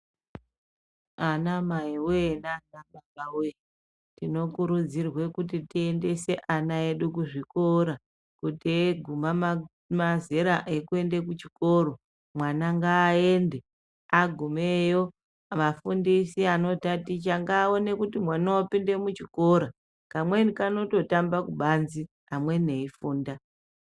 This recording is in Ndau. Anamaiwe naanababawe tinokurudzirwe kuti tiendese ana edu kuzvikora kuti eguma mazera ekuende kuchikoro mwana ngaaende agumeyo wafundisi anotaticha ngaaone kuti mwana wapinde muchikora, kamweni kanototamba kubanzi amweni eifunda.